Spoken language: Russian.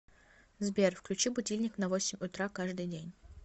сбер включи будильник на восемь утра каждый день